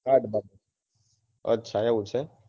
અચ્છા અચ્છા એવું છે ને